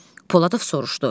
Poladov soruşdu.